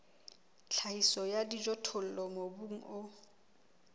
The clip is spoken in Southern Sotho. tlhahiso ya dijothollo mobung o